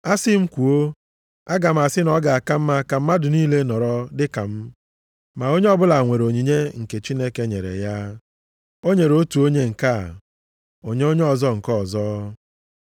Asị m kwuo, aga m asị na ọ ga-aka mma ka mmadụ niile nọrọ dị ka m. Ma onye ọbụla nwere onyinye nke Chineke nyere ya. O nyere otu onye nke a, onye ọzọ nke ọzọ.